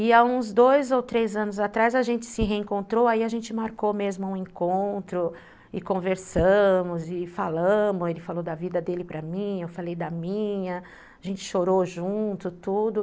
E há uns dois ou três anos atrás a gente se reencontrou, aí a gente marcou mesmo um encontro, e conversamos, e falamos, ele falou da vida dele para mim, eu falei da minha, a gente chorou junto, tudo.